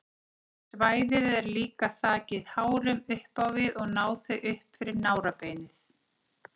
Svæðið er líka þakið hárum upp á við og ná þau upp fyrir nárabeinið.